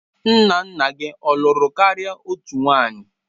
Nna nna gị ọ lụrụ karịa otu nwanyị?